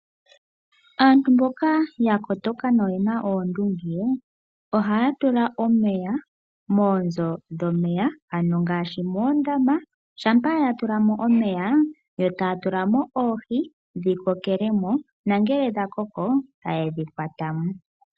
Aantu mboka ya kotoka noyena oondunge oha ya tula omeya moonzo dhomeya ano ngaashi moondama. Shampa ya tula mo omeya yo ta ya tula mo oohi dhi kokele mo, nongele dha koko ta ye dhi kwata mo.